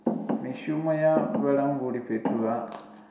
mishumo ya vhalanguli fhethu ha